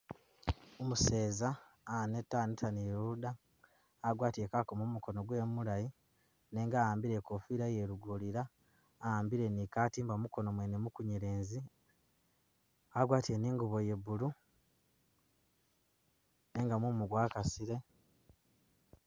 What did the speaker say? Umuseza aneta, aneta ni luda, agwatile kakomo mumukono gwewe mulayi nenga a'ambile ikofira ye lugorira ,a'ambile ni katimba mukono mwene mu kunyelezi ,agwatile ni ingubo ye blue nenga mumu gwakasile